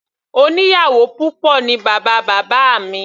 Oníyàwò púpọ̀ ní bàbá bábá mi.